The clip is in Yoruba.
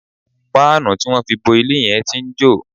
Páànù tí wọ́n fi bo ilé yẹn tí ń jò